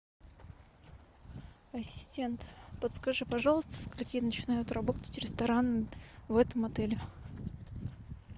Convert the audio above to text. ассистент подскажи пожалуйста со скольки начинают работать рестораны в этом отеле